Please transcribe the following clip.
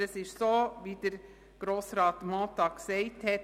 Aber es ist so, wie es Grossrat Mentha gesagt hat: